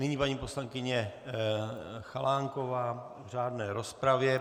Nyní paní poslankyně Chalánková v řádné rozpravě.